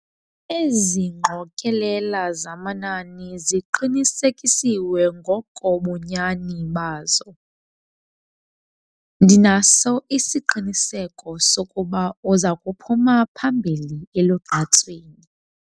Ezi ngqokelela zamanani ziqinisekisiwe ngokobunyani bazo. ndinaso isiqiniseko sokuba uza kuphuma phambili elugqatsweni